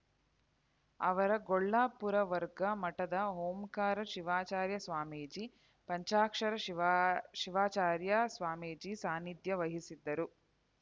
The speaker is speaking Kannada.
ಆವರಗೊಳ್ಳ ಪುರವರ್ಗ ಮಠದ ಓಂಕಾರ ಶಿವಾಚಾರ್ಯ ಸ್ವಾಮೀಜಿ ಪಂಚಾಕ್ಷರ ಶಿವಾ ಶಿವಾಚಾರ್ಯ ಸ್ವಾಮೀಜಿ ಸಾನಿಧ್ಯ ವಹಿಸಿದ್ದರು